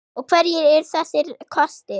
Og hverjir eru þessir kostir?